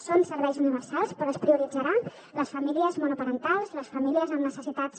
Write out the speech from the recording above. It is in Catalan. són serveis universals però es prioritzaran les famílies monoparentals les famílies amb necessitats